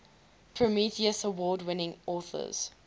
prometheus award winning authors